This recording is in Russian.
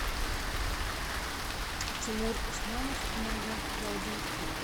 тимур усманов нега келдинг клип